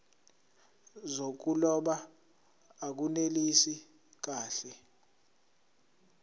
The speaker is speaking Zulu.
zokuloba akunelisi kahle